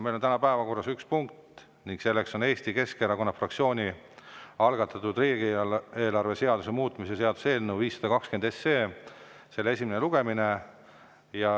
Meil on täna päevakorras üks punkt: Eesti Keskerakonna fraktsiooni algatatud riigieelarve seaduse muutmise seaduse eelnõu 520 esimene lugemine.